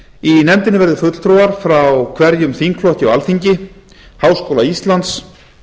í nefndinni verði fulltrúar frá hverjum þingflokki á alþingi háskóla íslands